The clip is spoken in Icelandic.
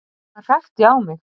Hann hrækti á mig